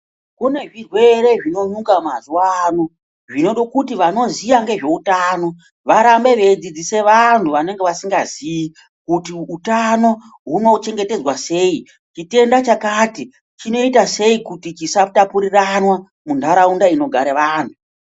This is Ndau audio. Kune zvirwere zvinyuka mazuva ano zvinode kuti vanoziya ngezveutano varambe veidzidzisa vantu vanenge vasingaziyi kuti utano hunochengetedzwa sei. Chitenda chakati chinoita sei kuti chisatapuriranwa muntaraunda inogare vantu.